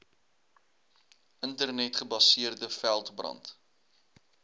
internet gebaseerde veldbrand